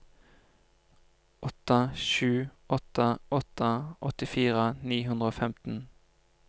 åtte sju åtte åtte åttifire ni hundre og femten